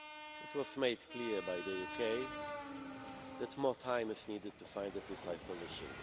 It was made clear by the UK that more time is needed to find a precise solution.